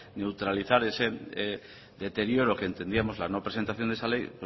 neutralizar ese deterioro que entendíamos la no presentación de esa ley